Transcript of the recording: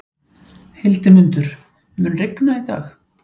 Hildimundur, mun rigna í dag?